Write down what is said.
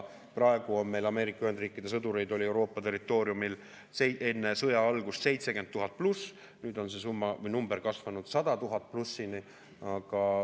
Praegu oli Ameerika Ühendriikide sõdureid Euroopa territooriumil enne sõja algust 70 000+, nüüd on see arv kasvanud üle 100 000.